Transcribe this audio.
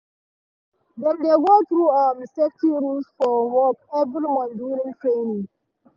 dem dey go through um safety rules for work every month during training.